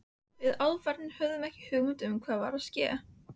Við álfarnir höfum ekki hugmynd um hvað er að ske.